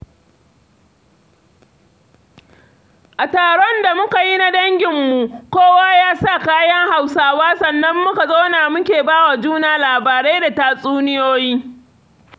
A taron da muka yi na danginmu, kowa ya sa kayan Hausawa sannan muka zauna muke ba wa juna labarai da tatsuniyoyi.